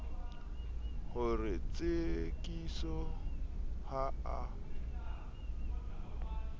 ho re tsekiso ha a